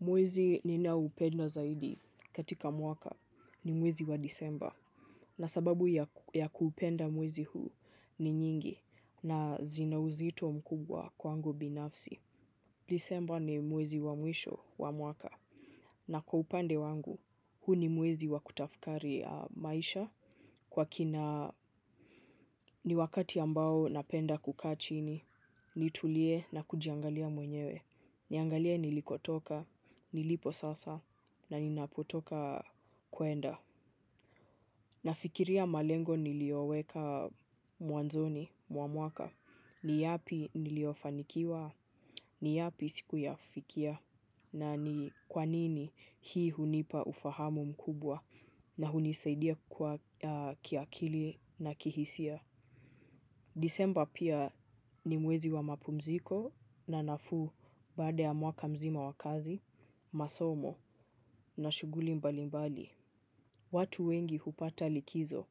Mwezi ninao upenda zaidi katika mwaka ni mwezi wa Disemba na sababu ya kuupenda mwezi huu ni nyingi na zina uzito mkubwa kwangu binafsi. Disemba ni mwezi wa mwisho wa mwaka na kwa upande wangu huu ni mwezi wa kutafakari maisha. Kwa kina ni wakati ambao napenda kukaa chini, nitulie na kujiangalia mwenyewe. Niangalia nilikotoka, nilipo sasa, na ninapotoka kwenda. Na fikiria malengo niliyoweka mwanzoni, mwa mwaka. Ni yapi niliyofanikiwa, ni yapi sikuyafikia, na ni kwanini hii hunipa ufahamu mkubwa. Na hunisaidia kwa kiakili na kihisia. Disemba pia ni mwezi wa mapumziko na nafuu baada ya mwaka mzima wa kazi, masomo na shughuli mbali mbali. Watu wengi hupata likizo,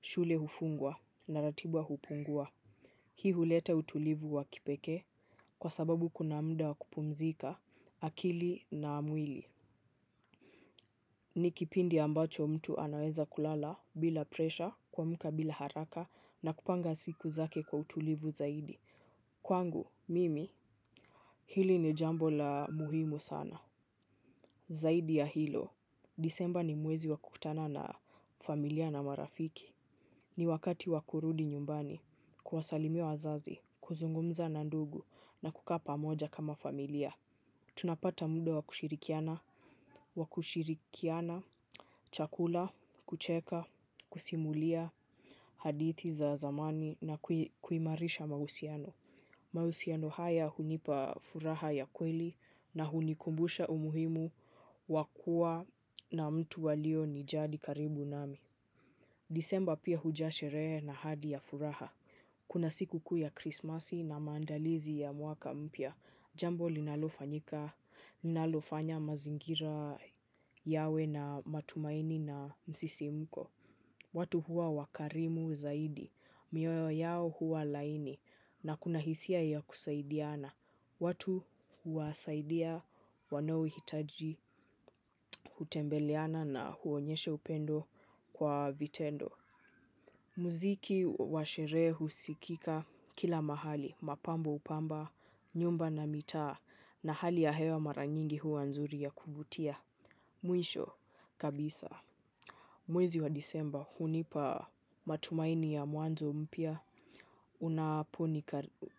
shule hufungwa na ratiba hupungua. Hii huleta utulivu wa kipekee kwa sababu kuna muda wa kupumzika akili na mwili. Ni kipindi ambacho mtu anaweza kulala bila presha, kuamka bila haraka, na kupanga siku zake kwa utulivu zaidi. Kwangu, mimi, hili ni jambo la muhimu sana. Zaidi ya hilo, Disemba ni mwezi wa kukutana na familia na marafiki. Ni wakati wa kurudi nyumbani kuwasalimia wazazi kuzungumza na ndugu na kukaa pamoja kama familia tunapata muda wa kushirikiana chakula kucheka kusimulia hadithi za zamani na kuimarisha mahusiano. Mahusiano haya hunipa furaha ya kweli na hunikumbusha umuhimu wakua na mtu walio nijali karibu nami. Disemba pia huja shere na hadi ya furaha. Kuna siku kuu ya Krismasi na maandalizi ya mwaka mpya. Jambo linalofanyika, linalofanya mazingira yawe na matumaini na msisimko. Watu huwa wakarimu zaidi mioyo yao huwa laini na kuna hisia ya kusaidiana watu huwasaidia wanaohitaji hutembeleana na huonyesha upendo kwa vitendo. Muziki washerehe husikika kila mahali, mapambo hupamba, nyumba na mitaa. Na hali ya hewa mara nyingi huwa nzuri ya kuvutia. Mwisho kabisa. Mwezi wa Disemba, hunipa matumaini ya mwanzo mpya.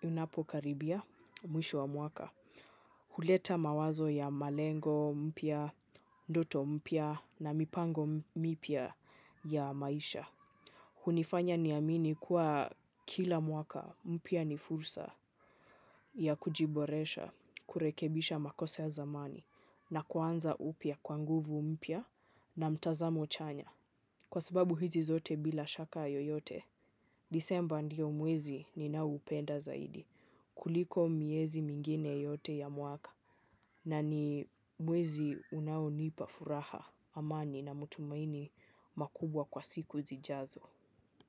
Unapo karibia, mwisho wa mwaka. Huleta mawazo ya malengo mpya, ndoto mpya na mipango mipya ya maisha. Hunifanya niamini kuwa kila mwaka mpya ni fursa ya kujiboresha, kurekebisha makosa ya zamani na kuanza upya kwa nguvu mpya na mtazamo chanya. Kwa sababu hizi zote bila shaka yoyote, Disemba ndio mwezi ninao upenda zaidi. Kuliko miezi mingine yote ya mwaka na ni mwezi unaonipa furaha amani na matumaini makubwa kwa siku zijazo.